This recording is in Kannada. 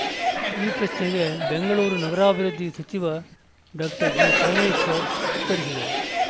ಈ ಪ್ರಶ್ನೆಗೆ ಬೆಂಗಳೂರು ನಗರಾಭಿವೃದ್ಧಿ ಸಚಿವ ಡಾಕ್ಟರ್ ಜಿಪರಮೇಶ್ವರ್‌ ಉತ್ತರಿಸಿದರು